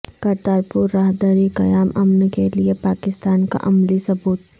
کرتارپور راہداری قیام امن کیلئے پاکستان کا عملی ثبوت